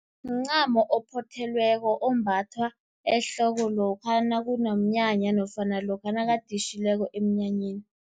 Mncamo ophothelweko ombathwa ehloko, lokha nakunomnyanya nofana lokha nakaditjhileko emnyanyeni.